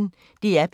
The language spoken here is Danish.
DR P1